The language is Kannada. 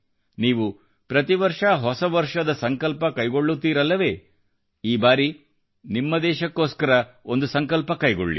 ನೀವು ಪ್ರತಿವರ್ಷ ಹೊಸ ವರ್ಷದ ಸಂಕಲ್ಪ ಕೈಗೊಳ್ಳುತ್ತೀರಲ್ಲವೆ ಈ ಬಾರಿ ನಿಮ್ಮ ದೇಶಕ್ಕೊಸ್ಕರವೂ ಒಂದು ಸಂಕಲ್ಪ ಕೈಗೊಳ್ಳಿ